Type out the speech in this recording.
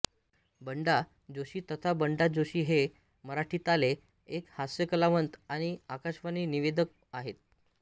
बंडा जोशी तथा बण्डा जोशी हे मराठीताले एक हास्यकलावंत आणि आकाशवाणी निवेदक आहेत